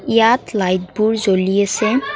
ইয়াত লাইটবোৰ জ্বলি আছে।